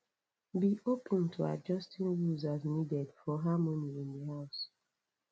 be open to adjusting rules as needed for harmony in the house